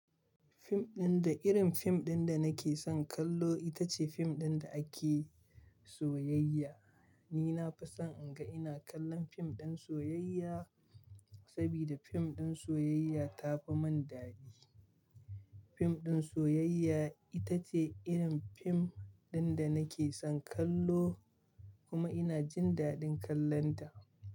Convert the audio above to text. Fim ɗin da irin fim ɗin da nake son kallo ita ce fim ɗin da ake soyayya. Ni na fi son in ga ina kallon fim ɗin soyayya saboda fim ɗin soyayya tafi mun dadi. Fim ɗin soyayya ita ce irin fim ɗin da nake son kallo kuma ina jin dadin kallonta.